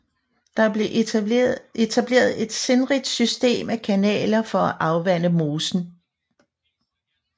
Der blev etableret et sindrigt system af kanaler for at afvande mosen